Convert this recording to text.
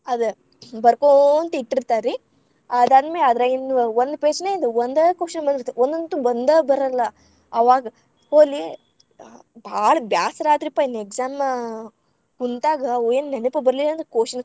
ಅದ ಬರಕೋಂತ್‌ ಇಟ್ಟಿರ್ತಾರ್ರೀ. ಅದಾದ್ ಮೇ ಅದರಾಗಿಂದ್ವ ಒಂದ್ page ನ್ಯಾಂದ್‌ ಒಂದ question ಬಂದಿರ್ತೇತ್ರಿ. ಒಂದೊಂದ್‌ ಅಂತೂ ಬಂದ‌ ಬರಲ್ಲಾ ಅವಾಗ್ ಹೋಲಿ ಹ ಭಾಳ ಬ್ಯಾಸರ ಆತ್ರಿಪ್ಪಾ ಇನ್ exam ಕುಂತಾಗ ಅವ್‌ ಏನ್‌ ನೆನಪ ಬರ್ಲಿಲ್ಲಾ ಅಂದ್ರ question .